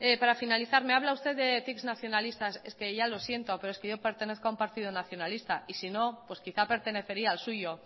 parafinalizar me habla usted de ticks nacionalistas es que ya lo siento pero es que yo pertenezco a un partido nacionalista y sino quizá pertenecería al suyo